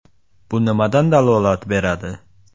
Bu nimadan dalolat beradi?